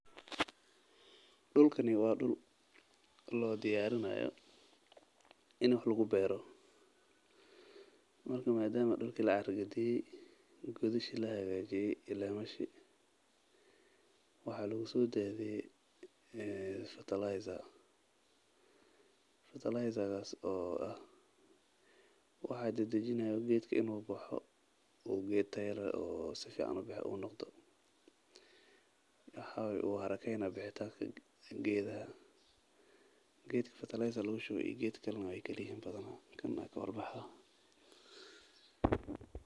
Dulkani waa dul loo diyarinayo in wax lagu beero madama dulka lahaagajiye godashi la qode waxaa lagu diyaariye bacramin geedka lagu shubo daqsi ayuu baxaa geedaha kale iyo asaga waay kala yihiin.